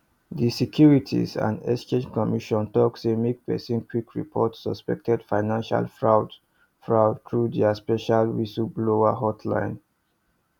di securities and exchange commission talk say make person quick report suspected financial fraud fraud through dia special whistleblower hotline